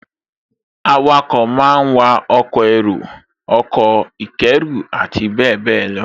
Awakọ̀ máa wa ọkọ̀ èrò, ọkọ̀ ìkẹ́rù àti bẹ́ẹ̀bẹ́ẹ̀ lọ